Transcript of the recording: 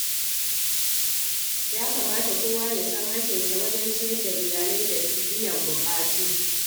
Ya kamata kowa ya san hakkinsa wajen ciyar da iyali da biyan buƙatu.